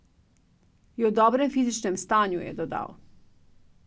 Je v dobrem fizičnem stanju, je dodal.